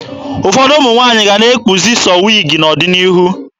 Ụfọdụ ụmụ nwaanyị ga-ana ekpuzi sọọ wiigi n'ọdịnihu.